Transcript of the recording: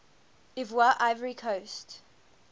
ivoire ivory coast